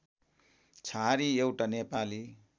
छहारी एउटा नेपाली